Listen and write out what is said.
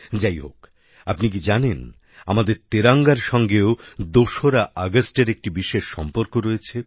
যাইহোক আপনি কি জানেন আমাদের তেরঙ্গার সঙ্গেও ২রা আগস্টের একটি বিশেষ সম্পর্ক রয়েছে